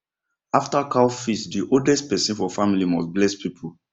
after cow feast the oldest person for family must bless people